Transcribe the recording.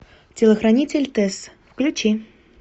телохранитель тесс включи